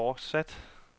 fortsatte